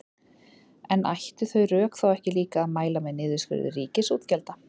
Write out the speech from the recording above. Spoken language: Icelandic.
En ættu þau rök þá ekki líka að mæla með niðurskurði ríkisútgjalda?